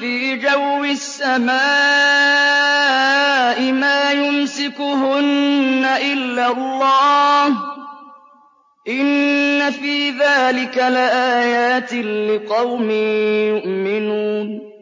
فِي جَوِّ السَّمَاءِ مَا يُمْسِكُهُنَّ إِلَّا اللَّهُ ۗ إِنَّ فِي ذَٰلِكَ لَآيَاتٍ لِّقَوْمٍ يُؤْمِنُونَ